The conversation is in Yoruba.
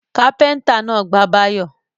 Kápẹ́ńtà náà gbá Báyọ̀.